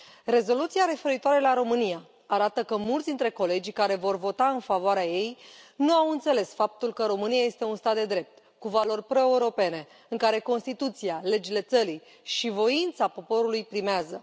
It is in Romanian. Rezoluția referitoare la România arată că mulți dintre colegii care vor vota în favoarea ei nu au înțeles faptul că România este un stat de drept, cu valori proeuropene, în care Constituția, legile țării și voința poporului primează.